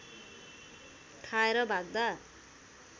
खाएर भाग्दा